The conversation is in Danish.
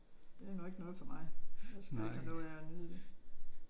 Det er nu ikke noget for mig. Jeg skal ikke have noget af at nyde det